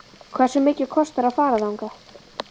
Hversu mikið kostar að fara þangað?